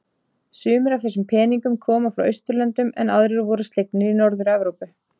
Sumir af þessum peningnum koma frá Austurlöndum en aðrir voru slegnir í Norður-Evrópu.